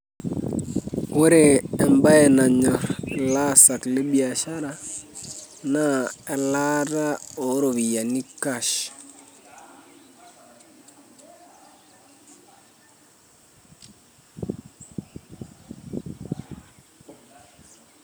Ore embae nanyor ilaasak lebiashara naa elaataa oropiyiani cash.